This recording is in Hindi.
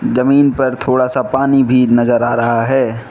जमीन पर थोड़ा सा पानी भी नजर आ रहा है।